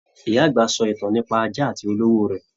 Ìyá àgbà sọ ìtàn nípa ajá àti olówó rẹ.